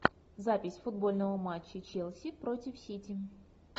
запись футбольного матча челси против сити